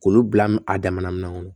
K'olu bila a damana min kɔnɔ